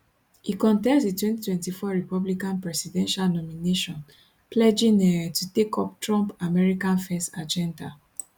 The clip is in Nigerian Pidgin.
e contest di 2024 republican presidential nomination pledging um to take up trump america first agenda